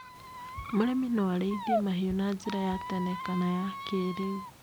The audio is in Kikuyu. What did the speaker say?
Mũrĩmi no arĩithie mahiũ na njĩra ya tene kana ya kĩrĩu.